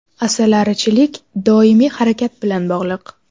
Asalarichilik doimiy harakat bilan bog‘liq.